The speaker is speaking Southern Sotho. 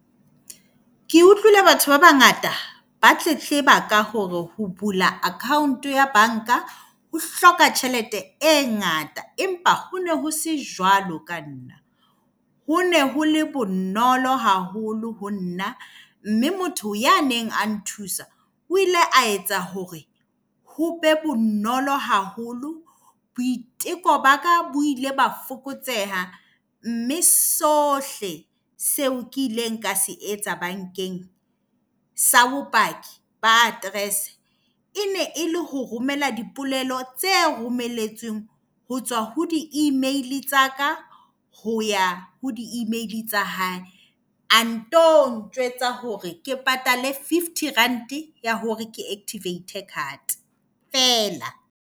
Ke utlwile batho ba bangata ba tletleba ka hore ho bula account ya banka ho hloka tjhelete e ngata empa ho ne ho se jwalo ka nna. Ho ne ho le bonolo haholo ho nna. Mme motho ya neng a nthusa o ile a etsa hore ho be bonolo haholo. Boiteko ba ka bo ile ba fokotseha, mme sohle seo ke ileng ka se etsa bankeng sa bopaki ba aterese, e ne e le ho romela dipolelo tse romeletsweng ho tswa ho di-email tsa ka, ho ya ho di-email tsa hae. A nto njwetsa hore ke patale fifty rand ya hore ke activate card fela.